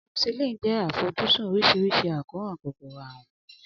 Amoxicillin ṣe àfojúsùn oríṣiríṣi àkóràn kòkòrò àrùn.